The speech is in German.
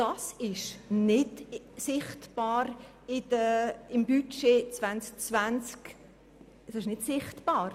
Diese Neubewertung ist im Budget 2020 nicht sichtbar.